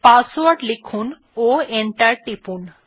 password লিখুন ও enter টিপুন